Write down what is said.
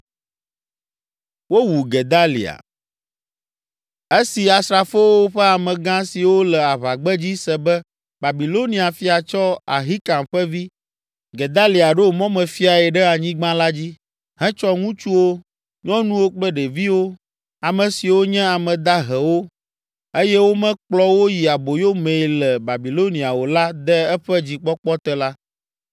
Esi asrafowo ƒe amegã siwo le aʋagbedzi se be Babilonia fia tsɔ Ahikam ƒe vi, Gedalia ɖo mɔmefiae ɖe anyigba la dzi, hetsɔ ŋutsuwo, nyɔnuwo kple ɖeviwo, ame siwo nye ame dahewo eye womekplɔ wo yi aboyo mee le Babilonia o la de eƒe dzikpɔkpɔ te la,